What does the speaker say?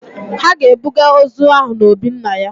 Ha ga-ebuga ozu ahụ na obi nna ya.